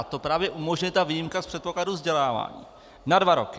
A to právě umožňuje ta výjimka z předpokladu vzdělávání - na dva roky.